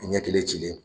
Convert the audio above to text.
Ɲɛ kelen cilen